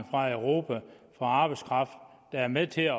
fra europa for arbejdskraft der er med til at